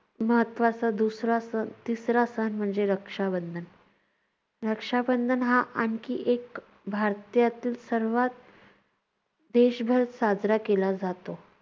महत्त्वाचा दुसरा सण तिसरा सण म्हणजे रक्षाबंधन. रक्षाबंधन हा आणखी एक भारतीयातील सर्वांत देशभर साजरा केला जातो.